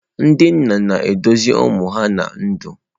Ndị nna na-eduzi ụmụ ha ná ndụ.